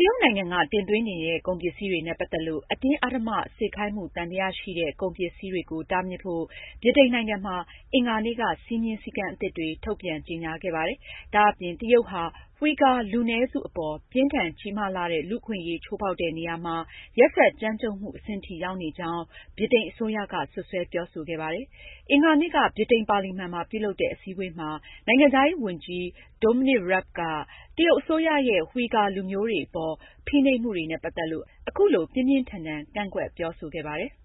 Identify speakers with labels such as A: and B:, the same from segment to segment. A: တရုတ်နိုင်ငံက သွင်းကုန်ပစ္စည်းတွေကိုနဲ့ ပတ်သက်လို့ အတင်းအဓမ္မစေခိုင်းမှု သံသယရှိတဲ့ ကုန်ပစ္စည်းတွေကို တားမြစ်ဖို့ ဗြိတိန်နိုင်ငံမှာ အင်္ဂါနေ့က စည်းမျဉ်းစည်းကမ်းအသစ် တွေကို ထုတ်ပြန်ကြေညာခဲ့ပါတယ်။ ဒါအပြင် တရုတ်ဟာ ဝှီဂါ လူနည်းစုအပေါ်ပြင်းထန်ကြီးမားလှတဲ့ လူ့အခွင့်အရေးချိုးဖောက်တဲ့နေရာမှာ ရက်စက်ကြမ်းကြတ်မှုအဆင့်ထိ ရောက်နေကြောင်းလည်း ဗြိတိန်အစိုးရက စွပ်စွဲပြောဆိုခဲ့ပါတယ်။ အင်္ဂါနေ့က ဗြိတိန်ပါလီမန်မှာ ပြုလုပ်တဲ့ အစည်းအဝေးမှာ နိုင်ငံခြားရေးဝန်ကြီး Dominic Raab က တရုတ်အစိုးရရဲ့ ဝှီဂါလူမျိုးတွေအပေါ် ဖိနှိပ်မှုတွေနဲ့ပတ်သက်လို့ အခုလို ပြင်းပြင်းထန်ထန်ကန့်ကွက်ပြောဆိုခဲ့ပါတယ်။ ”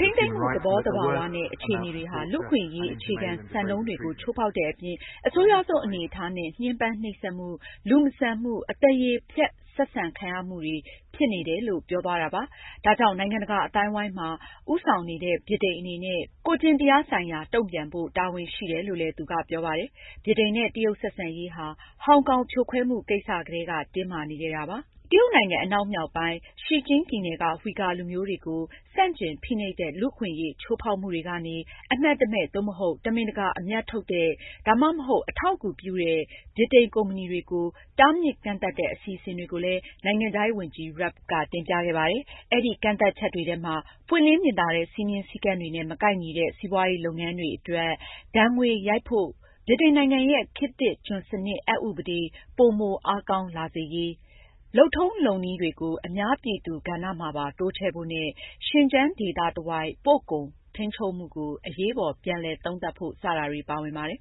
B: ထိန်းသိမ်းမှု သဘောသဘာဝန
A: ဲ့ အခြေအနေတွေဟာ လူ့အခွင့်အရေးအခြေခံစံနှုန်းတွေကိုချိုးဖောက်တဲ့အပြင်၊ အဆိုးရွားဆုံးအနေအထားနဲ့ ညှဉ်းပန်း နှိပ်စက်မှု၊လူမဆန်မှု၊ အသရေဖျက်ဆက်ဆံမှု တွေပဲဖြစ်တယ်။” ဒါကြောင့် နိုင်ငံတကာအသိုင်းအဝိုင်းမှာ ဦးဆောင်နေတဲ့ ဗြိတိန်အနေနဲ့ ကိုယ့်ကျင့်တရားဆိုင်ရာ တုန့်ပြန်ဖို့ တာဝန်ရှိတယ်လို့လည်း သူကပြောပါတယ်။ ဗြိတိန်နဲ့ တရုတ်ဆက်ဆံရေးဟာ ဟောင်ကောင်ဖြိုခွဲမှုကိစ္စကတည်းက တင်းမာနေခဲ့တာပါ။ တရုတ်နိုင်ငံ အနောက်မြောက်ပိုင်း Xinjiang ပြည်နယ်က ဝှီဂါလူမျိုးတွေကို ဆန့်ကျင်ဖိနှိပ်တဲ့ လူ့အခွင့်ချိုးဖောက်မှုတွေကနေ အမှတ်တမဲ့ သို့မဟုတ် တမင်တကာအမြတ်ထုတ်တဲ့၊ ဒါမှမဟုတ် အထောက်အကူပြုတဲ့ ဗြိတိန်ကုမ္ပဏီတွေကို တားမြစ်ကန့်သတ်တဲ့ အစီအစဉ်တွေကိုလည်း နိုင်ငံခြားရေးဝန်ကြီး Raab ကတင်ပြခဲ့ပါတယ်။ အဲဒီကန့်သတ်ချက်တွေထဲမှာ- ပွင့်လင်းမြင်သာတဲ့ စည်းမျဉ်းစည်းကမ်းတွေနဲ့ မကိုက်ညီတဲ့ စီးပွားရေးလုပ်ငန်းတွေအတွက်ဒဏ်ငွေရိုက်ဖို့အတွက် ဗြိတိန်နိုင်ငံရဲ့ ခတ်သစ်ကျွန်စနစ်အက်ဥပဒေ ပိုမိုအားကောင်းအောင်လာဖို့၊ လုပ်ထုံးလုပ်နည်းတွေကို အများပြည်သူကဏ္ဍမှာပါ တိုးချဲ့ဖို့နဲ့Xinjiang ဒေသတဝိုက် ပို့ကုန်ထိန်းချုပ်မှုကို အရေးပေါ်ပြန်လည် သုံးသပ်ဖို့ စတာတွေပါဝင်ပါတယ်